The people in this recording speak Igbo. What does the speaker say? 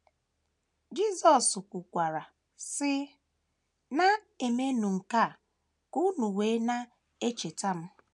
Jisọs kwukwara, sị: “ Na - emenụ nke a ka unu wee na - echeta m. ”